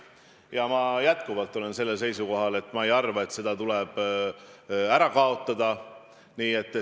Ja ma jätkuvalt olen seisukohal, et ma ei arva, et see tuleb ära kaotada.